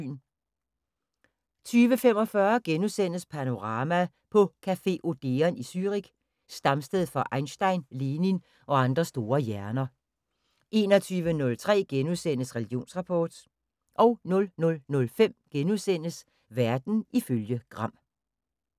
20:45: Panorama: På café Odeon i Zürich, stamsted for Einstein, Lenin og andre store hjerner * 21:03: Religionsrapport * 00:05: Verden ifølge Gram *